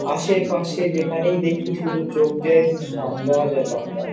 আশেপাশে যেখানেই দেখি শুধু চোখ যায় শুধু ধান গাছ আর ধান গাছ।